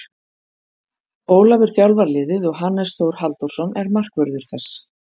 Ólafur þjálfar liðið og Hannes Þór Halldórsson er markvörður þess.